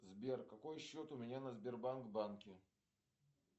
сбер какой счет у меня на сбербанк банке